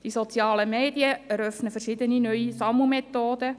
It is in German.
Die sozialen Medien eröffnen verschiedene neue Sammelmethoden.